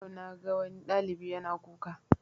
Yau na ga wani ɗalibi yana kuka